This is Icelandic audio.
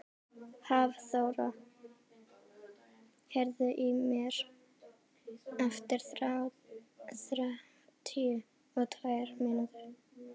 Hafþóra, heyrðu í mér eftir þrjátíu og tvær mínútur.